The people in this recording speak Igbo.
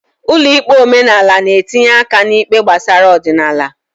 Ụlọ ikpe omenala n'etinye aka n'ikpe gbasara ọdịnala.